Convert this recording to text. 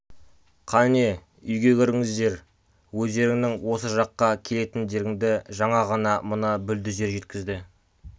қане үйге кіріңіздер өздеріңнің осы жаққа келетіндеріңді жаңа ғана мына бүлдізер жеткізді